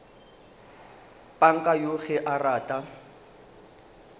panka yoo ge a rata